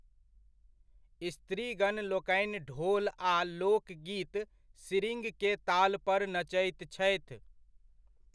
स्त्रीगणलोकनि ढोल आ लोकगीत, सिरिङ्ग के तालपर नचैत छथि।